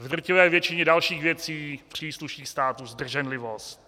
V drtivé většině dalších věcí přísluší státu zdrženlivost.